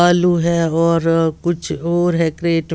आलू हैं और अ कुछ और है क्रेट --